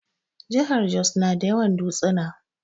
Jahar Jos na da yawan dutsuna